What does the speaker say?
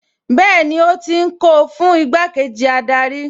Bẹ́ẹ̀ni ó ti ń kó o fún igbákejì adarí